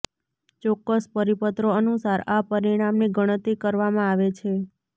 ચોક્કસ પરિપત્રો અનુસાર આ પરિમાણની ગણતરી કરવામાં આવે છે